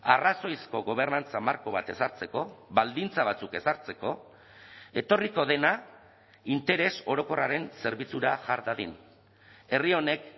arrazoizko gobernantza marko bat ezartzeko baldintza batzuk ezartzeko etorriko dena interes orokorraren zerbitzura jar dadin herri honek